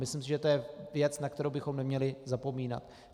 Myslím si, že to je věc, na kterou bychom neměli zapomínat.